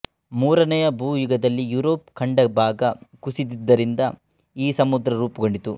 ಮೂರನೆಯ ಭೂಯುಗದಲ್ಲಿ ಯುರೋಪ್ ಖಂಡಭಾಗ ಕುಸಿದದ್ದರಿಂದ ಈ ಸಮುದ್ರ ರೂಪುಗೊಂಡಿತು